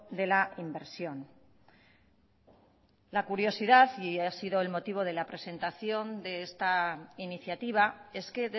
de la inversión la curiosidad y ha sido el motivo de la presentación de esta iniciativa es que